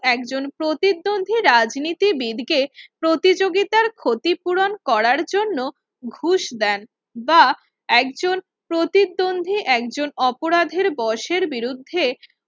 একজন প্রতিদ্বন্দ্বী রাজনীতিবিদ কে প্রতিযোগিতার ক্ষতিপূরণ করার জন্য ঘুষ দেন বা একজন প্রতিদ্বন্দ্বী একজন অপরাধের বসের বিরুদ্ধে